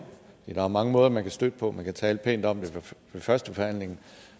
der er mange måder man kan støtte på man kan tale pænt om det ved førstebehandlingen